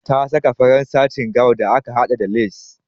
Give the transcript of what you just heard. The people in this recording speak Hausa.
Ta saka farar satin gown da aka haɗa da lace.